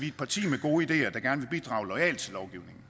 et parti med gode ideer der gerne bidrage loyalt til lovgivningen